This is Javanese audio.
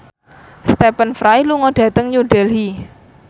Stephen Fry lunga dhateng New Delhi